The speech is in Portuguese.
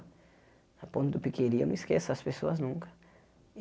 Na ponta do, eu não esqueço essas pessoas nunca.